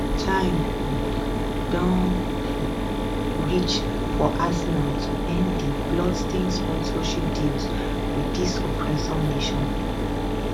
time um don um reach for arsenal to end di bloodstained sponsorship deals wit dis oppressor nation